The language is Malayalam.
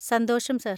സന്തോഷം, സർ.